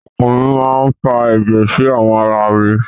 Ọkan mi máa fa ẹ̀jẹ̀ sí àwọn ara mi.